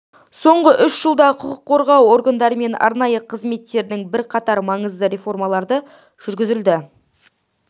соңғы үш жылда құқық қорғау органдары мен арнайы қызметтердің бірқатар маңызды реформалары жүргізілді